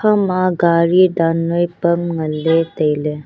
ema gari dan noi pam ngan ley tailey.